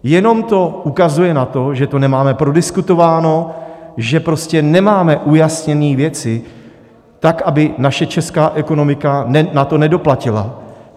Jenom to ukazuje na to, že to nemáme prodiskutováno, že prostě nemáme ujasněny věci tak, aby naše česká ekonomika na to nedoplatila.